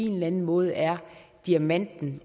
eller anden måde er diamanten